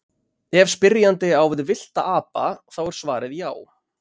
Ef spyrjandi á við villta apa þá er svarið já.